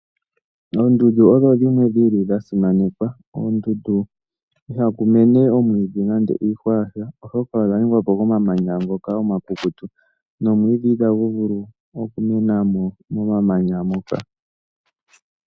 Oondundu odho dhimwe dhili dha simanekwa, koondundu ihaku mene omwiidhi nenge iihwa yasha, oshoka odha ningwa po komamanya ngoka omakukutu, nomwiidhi itagu vulu oku mena mo momamanya moka.